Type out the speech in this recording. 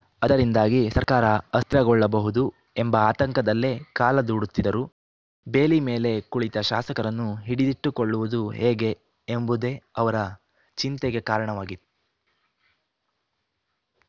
ಅದರಿಂದಾಗಿ ಸರ್ಕಾರ ಅಸ್ತ್ರಗೊಳ್ಳಬಹುದು ಎಂಬ ಆತಂಕದಲ್ಲೇ ಕಾಲ ದೂಡುತ್ತಿದ್ದರು ಬೇಲಿ ಮೇಲೆ ಕುಳಿತ ಶಾಸಕರನ್ನು ಹಿಡಿದಿಟ್ಟುಕೊಳ್ಳುವುದು ಹೇಗೆ ಎಂಬುದೇ ಅವರ ಚಿಂತೆಗೆ ಕಾರಣವಾಗಿ